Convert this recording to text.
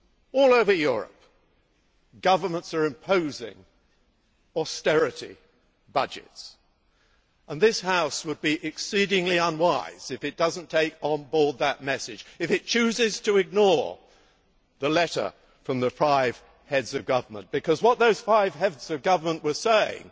All over Europe, governments are imposing austerity budgets, and this House would be exceedingly unwise if it does not take on board that message, if it chooses to ignore the letter from the five Heads of Government, because what those five Heads of Government were saying